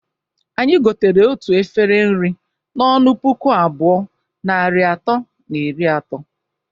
Anyi gotere otu efere nri n'ọnụ puku abụọ, narị atọ na iri ato.